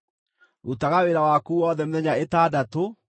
Rutaga wĩra waku wothe mĩthenya ĩtandatũ,